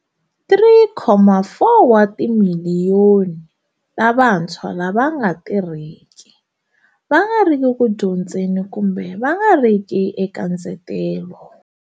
3.4 wa timiliyoni ta vantshwa lava va nga tirhiki, va nga riki ku dyondzeni kumbe va nga riki eka ndzetelo.